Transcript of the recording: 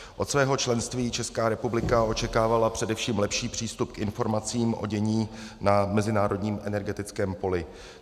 Od svého členství Česká republika očekávala především lepší přístup k informacím o dění na mezinárodním energetickém poli.